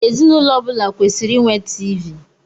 Ezinụlọ ọbula kwesịrị ịnwe TV.